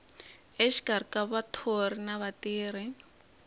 exikarhi ka vathori na vatirhi